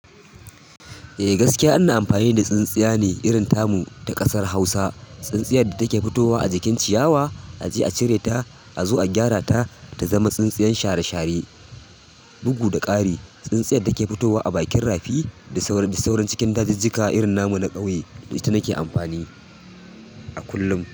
Eh gaskiya ina amfani da tsintsiya ne irin tamu ta ƙasar Hausa. Tsintsiyar da take fitowa a jikin ciyawa a je a cire ta a zo a gyara ta ta zama tsintsiyar share share, bugu da ƙari. Tsintsiyar da ke fitowa a bakin rafi da sauransu cikin dajinjika irin namu na ƙauye ita nake amfani a kullum.